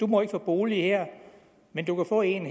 må få en bolig her men du kan få en